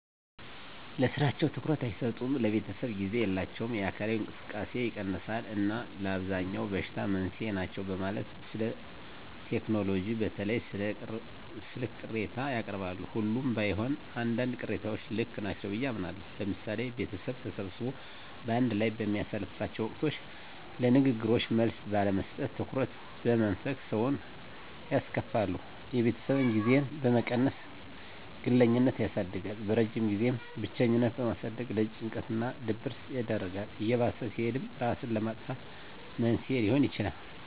ለስራቸው ትኩረት አይሰጡም፣ ለቤተሰብ ጊዜ የላቸውም፣ የአካላዊ እንቅስቃሴ ይቀንሳል እና ለአብዛኛው በሽታ መንስኤ ናቸው በማለት ስለቴክኖሎጂ በተለይም ስለ ስልክ ቅሬታ ያቀርባሉ። ሁሉም ባይሆን አንዳንድ ቅሬታዎች ልክ ናቸው ብየ አምናለሁ። ለምሳሌ ቤተሰብ ተሰብስቦ በአንድ ላይ በሚያሳልፍላቸው ወቅቶች ለንግግሮች መልስ ባለመስጠት፣ ትኩረት በመንፈግ ሰውን ያስከፋሉ። የቤተሰብ ጊዜን በመቀነስ ግለኝነትን ያሳድጋል። በረጅም ጊዜም ብቸኝነትን በማሳደግ ለጭንቀት እና ድብረት ይዳርጋል። እየባሰ ሲሄድም እራስን ለማጥፋት መንስኤ ሊሆን ይችላል።